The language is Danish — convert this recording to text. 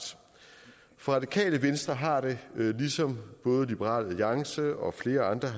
for radikale venstre har det ligesom både liberal alliance og flere andre